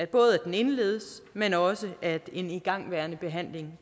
både at den indledes men også at en igangværende behandling